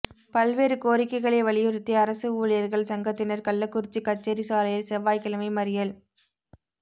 பல்வேறு கோரிக்கைகளை வலியுறுத்தி அரசு ஊழியா்கள் சங்கத்தினா் கள்ளக்குறிச்சி கச்சேரி சாலையில் செவ்வாய்க்கிழமை மறியல்